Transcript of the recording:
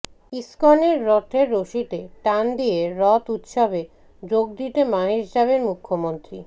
ইসকনের রথের রশিতে টান দিয়ে রথ উৎসবে যোগ দিতে মাহেশ যাবেন মুখ্যমন্ত্রী